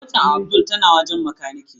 Motar Abdul tana wajen makanike.